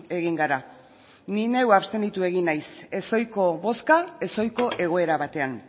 egin gara ni neu abstenitu egin naiz ez ohiko bozka ez ohiko egoera batean